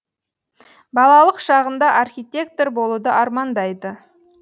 балалық шағында архитектор болуды армандайды